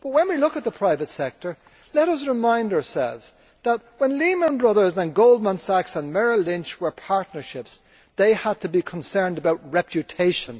But when we look at the private sector, let us remind ourselves that when Lehman Brothers and Goldman Sachs and Merrill Lynch were partnerships, they had to be concerned about reputation.